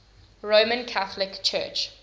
roman catholic church